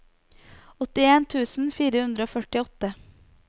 åttien tusen fire hundre og førtiåtte